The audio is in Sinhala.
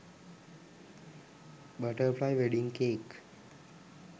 butterfly wedding cake